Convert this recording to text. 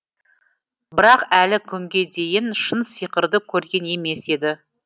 бірақ әлі күнге дейін шын сиқырды көрген емес еді